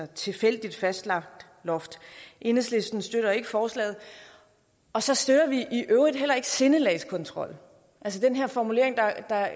tilfældigt fastlagt loft enhedslistens støtter ikke forslaget og så støtter vi i øvrigt heller ikke sindelagskontrol altså den her formulering der